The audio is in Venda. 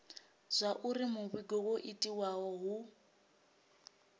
zwauri muvhigo wo itiwa hu